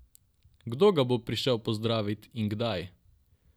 Kdo ga bo prišel pozdravit in kdaj?